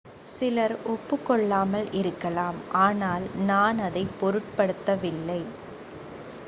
"""சிலர் ஒப்புக்கொள்ளாமல் இருக்கலாம் ஆனால் நான் அதைப் பொருட்படுத்தவில்லை.